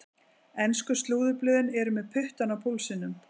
Ensku slúðurblöðin eru með puttann á púlsinum.